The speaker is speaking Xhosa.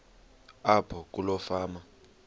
apho kuloo fama